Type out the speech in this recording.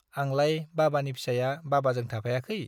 आंलाय बाबानि फिसाया बाबाजों थाफायाखै ?